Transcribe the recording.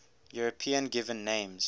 european given names